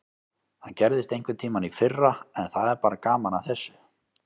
Það gerðist einhverntímann í fyrra en það er bara gaman að þessu.